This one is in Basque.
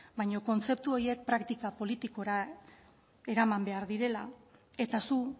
baina kontzeptu horiek praktika politikora eraman behar direla eta zu